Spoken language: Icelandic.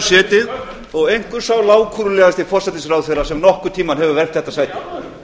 setið og einhver sá lágkúrulegasti forsætisráðherra sem nokkurn tímann hefur vermt þetta sæti